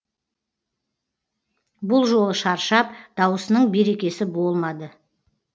бұл жолы шаршап дауысының берекесі болмады